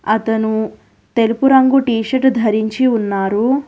అతను తెలుపు రంగు టీషర్టు ధరించి ఉన్నారు.